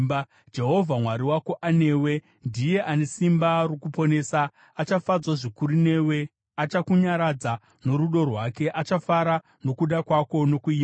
Jehovha Mwari wako anewe, ndiye ane simba rokuponesa. Achafadzwa zvikuru newe, achakunyaradza norudo rwake, achafara nokuda kwako nokuimba.”